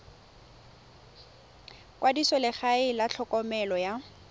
kwadisa legae la tlhokomelo ya